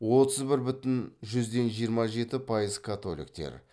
отыз бір бүтін жүзден жиырма жеті пайыз католиктер